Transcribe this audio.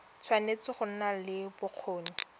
tshwanetse go nna le bokgoni